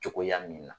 Cogoya min na